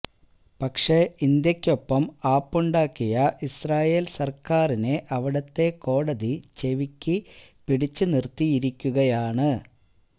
പക്ഷെ ഇന്ത്യക്കൊപ്പം ആപ്പുണ്ടാക്കിയ ഇസ്രായേൽ സർക്കാരിനെ അവിടുത്തെ കോടതി ചെവിക്ക് പിടിച്ചുനിർത്തിയിരിക്കുകയാണ്